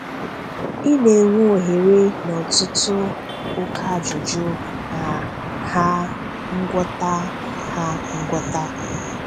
Ị na-enwe ohere na ọ̀tùtụ̀ okè ajụjụ na ha ngwọta. ha ngwọta.